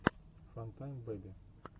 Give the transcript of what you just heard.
фантайм бэби